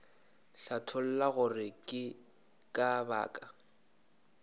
hlatholla gore ke ka baka